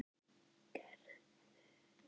Gerður heyrir ekkert frá þeim.